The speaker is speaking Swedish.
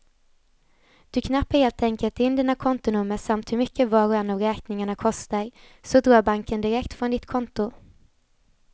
Du knappar helt enkelt in dina kontonummer samt hur mycket var och en av räkningarna kostar, så drar banken direkt från ditt konto.